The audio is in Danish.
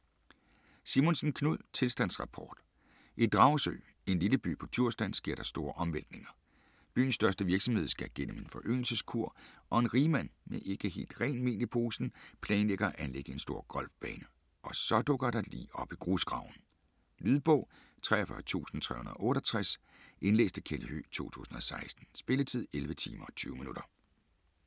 Simonsen, Knud: Tilstandsrapport I Dragsø, en lille by på Djursland, sker der store omvæltninger. Byens største virksomhed skal gennem en foryngelseskur og en rigmand (med ikke helt rent mel i posen) planlægger at anlægge en stor golfbane. Og så dukker der et lig op i grusgraven. Lydbog 43368 Indlæst af Kjeld Høegh, 2016. Spilletid: 11 timer, 20 minutter.